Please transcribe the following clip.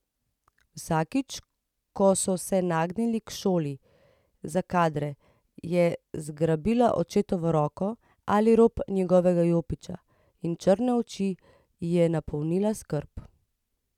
Vsakič ko so se nagnili k šoli za kadre, je zgrabila očetovo roko ali rob njegovega jopiča in črne oči ji je napolnila skrb.